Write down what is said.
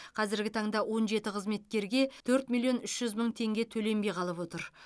қазіргі таңда он жеті қызметкерге төрт миллион үш жүз мың теңге төленбей қалып отыр